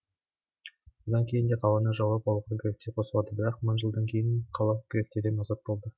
одан кейін де қаланы жаулап алуға гректер қосылады бірақ мың жылдан кейін қала гректерден азат болды